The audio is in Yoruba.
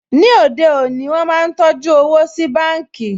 Ní òde òní, wọ́n máa ń tọjú owó sí báǹkì